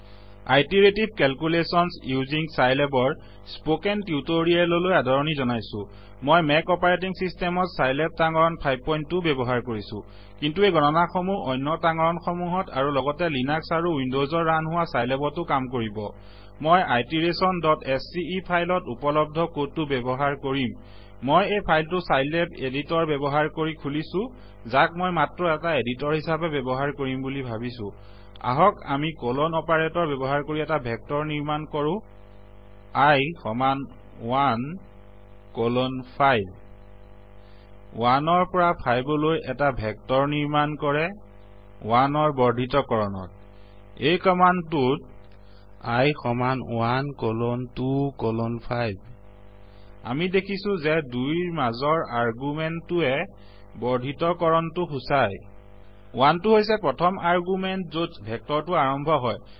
iterative calculations using চাইলেবৰ spoken tutorial লৈ আদৰণি জনাইছো মই মেক অপাৰেটিং চিষ্টেমত চাইলেব তাঙৰণ 52 ব্যৱ্হাৰ কৰিছো কিন্তূ এই গণনাসমূহ অন্য তাঙৰণসমূহত আৰু লগতে লিনাক্স আৰু উইনদচত ৰান হোৱা চাইলেবতো কাম কৰিব মই iterationস্কে ফাইলত উপলব্ধ কডটো ব্যৱ্হাৰ কৰিম মই এই ফাইলটো চাইলেব এদিটৰ ব্যৱ্হাৰ কৰি খুলিছোযাক মই মাত্ৰ এটা এদিটৰ হিচাবে ব্যৱ্হাৰ কৰিম বুলি ভাবিছো আহক আমি কলন অপাৰেতৰ ব্যৱ্হাৰ কৰি এটা ভেক্তৰ নিৰ্মাণ কৰো i সমান 1 কলন 5 1 ৰ পৰা 5লৈ এটা ভেক্তৰ নিৰ্মাণ কৰে1ৰ বৰ্দ্ধিতকৰণত এই কমান্ডটোত i সমান 1 কলন 2 কলন 5 আমি দেখিছো যে 2ৰ মাজৰ আৰগুমেন্তটোৱে বৰ্দ্ধিতকৰণটো সূচায় 1টো হৈছে প্ৰথম আৰগুমেন্ত যত ভেক্তৰটো আৰম্ভ হয়